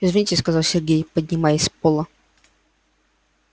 извините сказал сергей поднимаясь пола